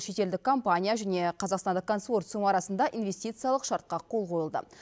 шетелдік компания және қазақстандық консорциум арасында инвестициялық шартқа қол қойылды